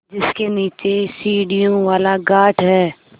जिसके नीचे सीढ़ियों वाला घाट है